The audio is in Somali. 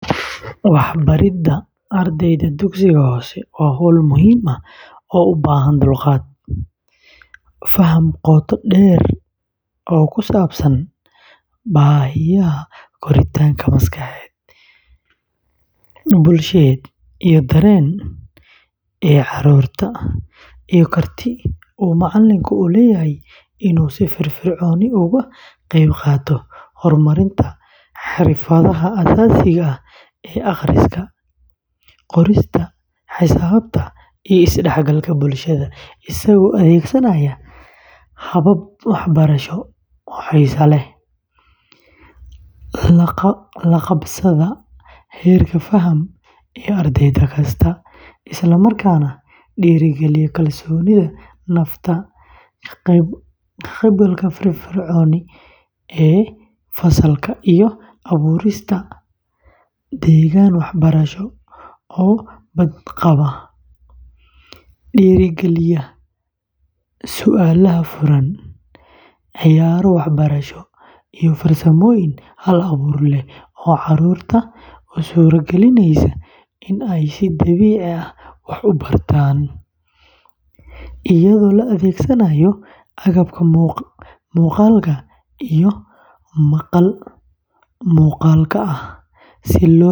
Wax baridda ardayda dugsiga hoose waa hawl muhiim ah oo u baahan dulqaad, faham qoto dheer oo ku saabsan baahiyaha koritaanka maskaxeed, bulsheed iyo dareen ee carruurta, iyo karti uu macallinku u leeyahay inuu si firfircoon uga qayb qaato horumarinta xirfadaha aasaasiga ah ee akhriska, qorista, xisaabta, iyo is-dhexgalka bulshada, isagoo adeegsanaya habab waxbarasho oo xiiso leh, la qabsada heerka faham ee arday kasta, isla markaana dhiirrigeliya kalsoonida nafta, ka qaybgalka firfircoon ee fasalka, iyo abuurista deegaan waxbarasho oo badqaba, dhiirrigeliya su’aalaha furan, ciyaaro waxbarasho, iyo farsamooyin hal-abuur leh oo carruurta u suuragelinaya inay si dabiici ah wax u bartaan, iyadoo la adeegsanaayo agabka muuqaalka iyo maqal-muuqaalka ah.